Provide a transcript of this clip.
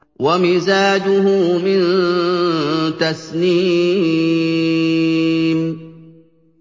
وَمِزَاجُهُ مِن تَسْنِيمٍ